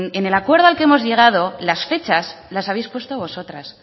en el acuerdo al que hemos llegado las fechas las habéis puesto vosotras